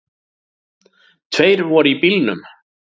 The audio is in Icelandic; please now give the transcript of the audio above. Tveir voru í bílnum